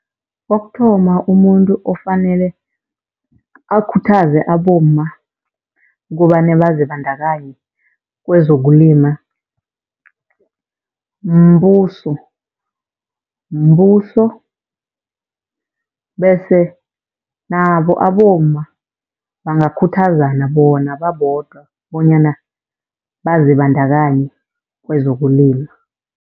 Kokuthoma, umuntu ofanele akhuthaze abomma kobane bazibandakanye kwezokulima mbuso. Mbuso bese nabo abomma bangakhuthazana bona babodwa bonyana bazibandakanye kwezokulima.